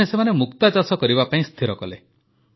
ଦିନେ ସେମାନେ ମୁକ୍ତାଚାଷ କରିବା ପାଇଁ ସ୍ଥିର କଲେ